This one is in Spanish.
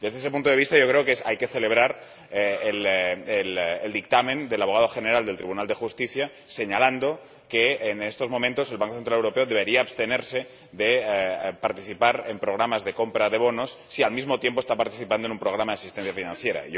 Desde ese punto de vista creo que hay que celebrar el dictamen del Abogado General del Tribunal de Justicia en el que señala que, en estos momentos, el Banco Central Europeo debería abstenerse de participar en programas de compra de bonos si al mismo tiempo está participando en un programa de asistencia financiera.